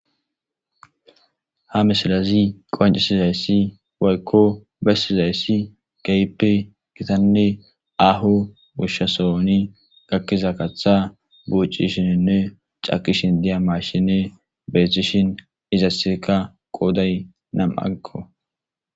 Ha misilazi qoncisizayssi woykko bessizayssi gaipe gitanne aho gushshasooni gakkiza kaththa buucishininne cakishin diya mashine beethishin izasseka qooday nam agko.